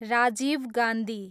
Rajiv Gandhi